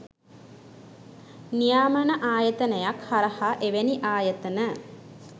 නියාමන ආයතනයක් හරහා එවැනි ආයතන